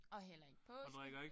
Og heller ikke påske